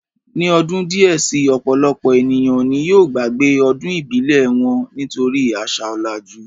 Ní ọdún díẹ̀ si, ọ̀pọ̀lọpọ̀ ènìyàn ni yóò gbàgbé ọdún ìbílẹ̀ wọn, nítorí àṣà ọ̀làjú